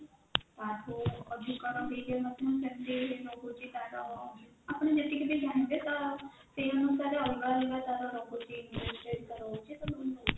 ରହୁଛି ତାର ଆପଣ ଯେତିକି ବି ଚାହିଁବେ ତ ସେଇ ଅନୁସାରେ ଅଲଗା ଅଲଗା ରହୁଛି interest rate ତାର ରହୁଛି